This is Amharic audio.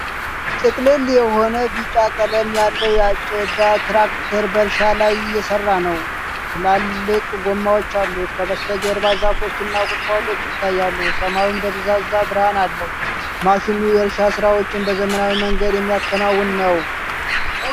ጥቅልል የሆነ ቢጫ ቀለም ያለው የአጨዳትራክተር በእርሻ ላይ እየሰራነው። ትላልቅ ጎማዎች አሉት። ከበስተጀርባ ዛፎች እና ቁጥቋጦዎች ይታያሉ፣ ሰማዩም ደብዛዛ ብርሃን አለው። ማሽኑ የእርሻ ሥራዎችን በዘመናዊ መንገድ የሚያከናውን ነው።